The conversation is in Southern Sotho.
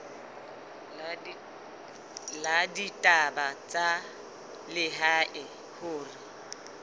la ditaba tsa lehae hore